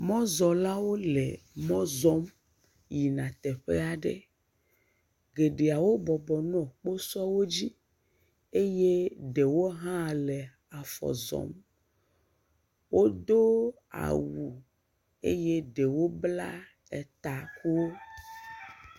Mɔzɔ̃lawo le mɔ zɔm yina teƒe aɖe. Geɖe wobɔbɔ nɔ kposɔwo dzi eye ɖewo hã le afɔ zɔm. Wodo awu eye ɖewo bla takuwo.